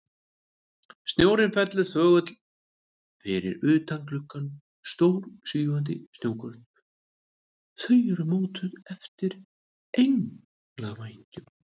Snjórinn fellur þögull fyrir utan gluggana, stór, svífandi snjókorn, þau eru mótuð eftir englavængjum.